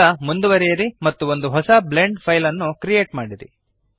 ಈಗ ಮುಂದುವರಿಯಿರಿ ಮತ್ತು ಒಂದು ಹೊಸ ಬ್ಲೆಂಡ್ ಫೈಲ್ ಅನ್ನು ಕ್ರಿಯೇಟ್ ಮಾಡಿರಿ